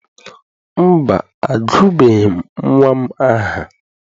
Mba, agụbeghị m nnwa m aha.